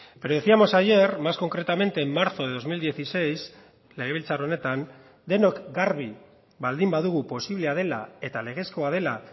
pero decíamos ayer más concretamente en marzo de dos mil dieciséis legebiltzar honetan denok garbi baldin badugu posiblea dela eta legezkoa dela